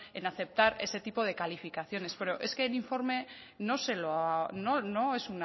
en aceptar ese tipo de calificaciones pero es que el informe no se lo no es